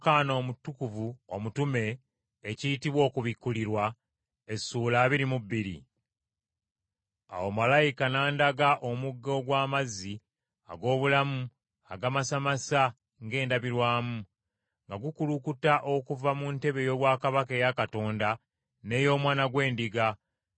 Awo malayika n’andaga omugga ogw’amazzi ag’obulamu agamasamasa ng’endabirwamu, nga gukulukuta okuva mu ntebe ey’obwakabaka eya Katonda, n’ey’Omwana gw’Endiga,